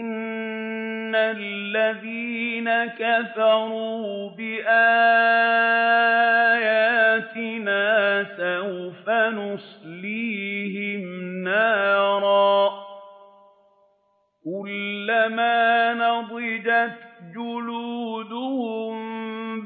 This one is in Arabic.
إِنَّ الَّذِينَ كَفَرُوا بِآيَاتِنَا سَوْفَ نُصْلِيهِمْ نَارًا كُلَّمَا نَضِجَتْ جُلُودُهُم